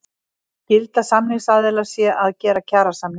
Skylda samningsaðila sé að gera kjarasamninga